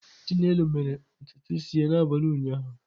Chinelo mere ntutu isi ya n'abalị ụnyaahụ?